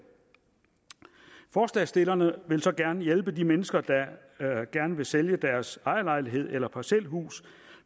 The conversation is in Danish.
forslagsstillerne vil så gerne hjælpe de mennesker der gerne vil sælge deres ejerlejlighed eller parcelhus